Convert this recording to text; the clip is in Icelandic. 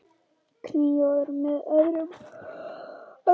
Kynóður með öðrum orðum.